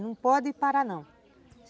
Não pode parar, não.